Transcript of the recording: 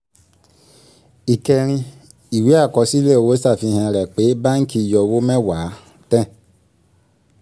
ìkẹrin(iv) ìwé àkọsílẹ̀ owó ṣàfihàn rẹ̀ pé báǹkì yọ owó mẹ́wàá ten